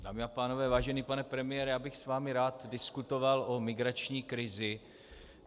Dámy a pánové, vážený pane premiére, já bych s vámi rád diskutoval o migrační krizi.